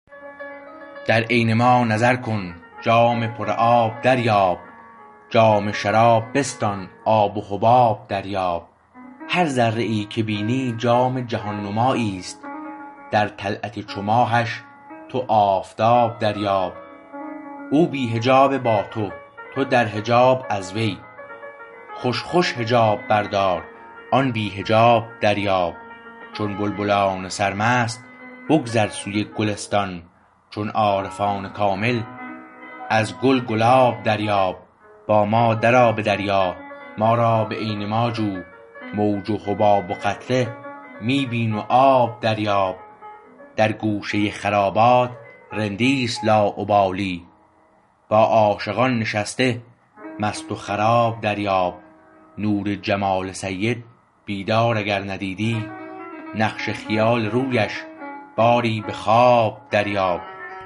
در عین ما نظر کن جام پر آب دریاب جام شراب بستان آب و حباب دریاب هر ذره ای که بینی جام جهان نماییست در طلعت چو ماهش تو آفتاب دریاب او بی حجاب با تو تو در حجاب از وی خوش خوش حجاب بردار آن بی حجاب دریاب چون بلبلان سرمست بگذر سوی گلستان چون عارفان کامل از گل گلاب دریاب با ما درآ به دریا ما را به عین ما جو موج و حباب و قطره می بین و آب دریاب در گوشه خرابات رندی است لاابالی با عاشقان نشسته مست و خراب دریاب نور جمال سید بیدار اگر ندیدی نقش خیال رویش باری به خواب دریاب